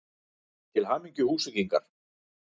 Til hamingju Húsvíkingar!!